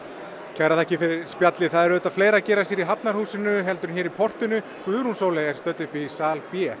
kærar þakkir fyrir spjallið það er auðvitað fleira að gerast hér í Hafnarhúsi heldur en hér í portinu Guðrún Sóley er stödd uppi í sal b